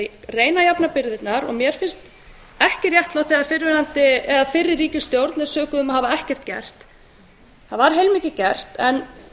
að reyna að jafna byrðarnar og mér finnst ekki réttlátt þegar fyrri ríkisstjórn er sökuð um að hafa ekkert gert það var heilmikið gert en